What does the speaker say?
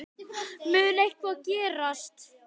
Mun eitthvað gerast?